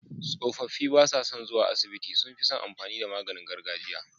Tsofaffi basa son zuwa asibiti sunfison amfani da maganin gargajiya